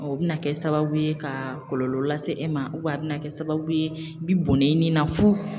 O bɛna kɛ sababu ye ka kɔlɔlɔ lase e ma a bɛna kɛ sababu ye i bi bɔnnen i ni na fu